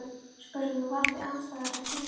spurði hann, á valdi andstæðra kennda.